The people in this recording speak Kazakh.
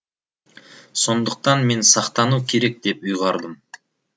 сондықтан мен сақтану керек деп ұйғардым